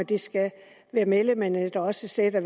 det skal være medlemmerne der også sætter